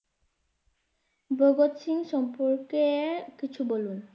ভগৎ সিং সম্পর্কে এ কিছু বলুন।